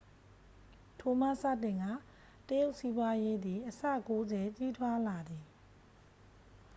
ထိုမှစတင်ကာ တရုတ်စီးပွားရေးသည်အဆ 90 ကြီးထွားလာသည်